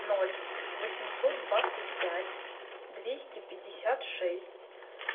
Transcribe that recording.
ноль восемьсот двадцать пять двести пятьдесят шесть